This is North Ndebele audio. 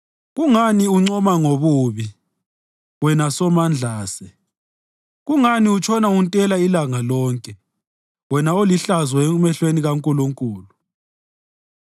Kungani uncoma ngobubi, wena somandlase? Kungani utshona untela ilanga lonke, wena olihlazo emehlweni kaNkulunkulu?